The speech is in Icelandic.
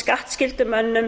skattskyldu mönnum